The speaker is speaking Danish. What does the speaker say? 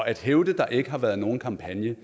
at hævde at der ikke har været nogen kampagne